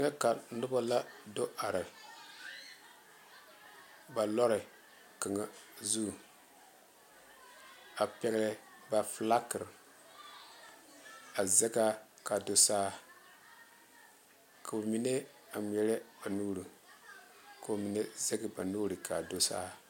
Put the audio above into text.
Deka noba la do are ba lɔre kaŋa zu a pegle ba fiilakere a zeŋ a kaa do saa koo mine a ŋmaare ba nuure ko'o mine a zaŋ ba nuure kaa do saa.